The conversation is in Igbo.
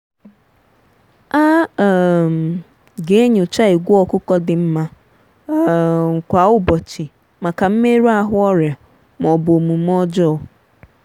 a um ga-enyocha ìgwè ọkụkọ dị mma um kwa ụbọchị maka mmerụ ahụ ọrịa ma ọ bụ omume ọjọọ.